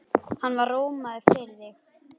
Hann var rómaður fyrir það.